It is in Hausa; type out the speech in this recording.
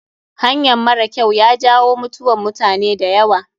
Hanyan mara kyau ya jawo mutuwan mutane da yawa.